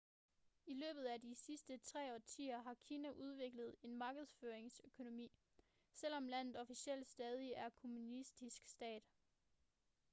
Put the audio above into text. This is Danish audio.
i løbet af de sidste tre årtier har kina udviklet en markedsøkonomi selvom landet officielt stadig er en kommunistisk stat